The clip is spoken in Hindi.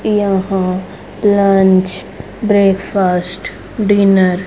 यहां लंच ब्रेकफास्ट डिनर --